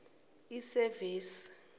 isevisi